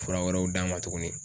Fura wɛrɛw d'a ma tugunni.